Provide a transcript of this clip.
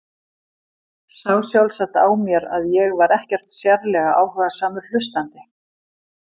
Sá sjálfsagt á mér að ég var ekkert sérlega áhugasamur hlustandi.